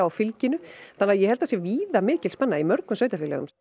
fylginu þannig að ég held að það sé víða mikil spenna í mörgum sveitarfélögum